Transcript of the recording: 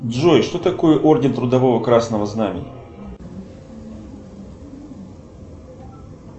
джой что такое орден трудового красного знамени